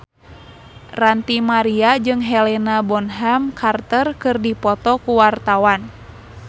Ranty Maria jeung Helena Bonham Carter keur dipoto ku wartawan